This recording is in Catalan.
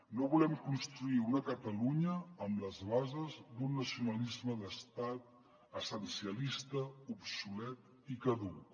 no volem construir una catalunya amb les bases d’un nacionalisme d’estat essencialista obsolet i caduc